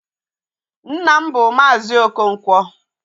Nna m bụ Maazi Okonkwo